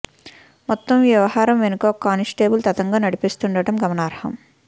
మొత్తం ఈ వ్యవహారం వెనుక ఓ కానిస్టేబుల్ తతంగం నడిపిస్తుండడం గమనార్హం